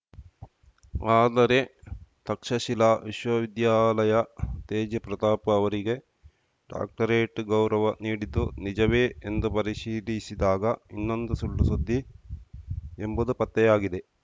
ಆದರೆ ತಕ್ಷಶಿಲಾ ವಿಶ್ವವಿದ್ಯಾಲಯ ತೇಜ್‌ ಪ್ರತಾಪ್‌ ಅವರಿಗೆ ಡಾಕ್ಟರೇಟ್‌ ಗೌರವ ನೀಡಿದ್ದು ನಿಜವೇ ಎಂದು ಪರಿಶೀಲಿಸಿದಾಗ ಇದೊಂದು ಸುಳ್ಳುಸುದ್ದಿ ಎಂಬುದು ಪತ್ತೆಯಾಗಿದೆ